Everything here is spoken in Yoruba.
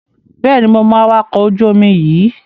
Bẹ́ẹ̀ni, mo mọ awakọ̀ ojú-omi yíì